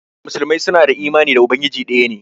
Muslimai su na da imani na Ubangiji daya ne.